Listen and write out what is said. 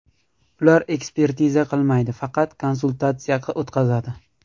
Ular ekspertiza qilmaydi, faqat konsultatsiya o‘tqazadi.